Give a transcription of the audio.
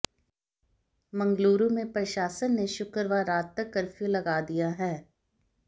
मंगलुरु में प्रशासन ने शुक्रवार रात तक कर्फ्यू लगा दिया है